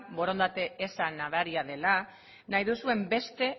borondate eza nabaria dela nahi duzuen beste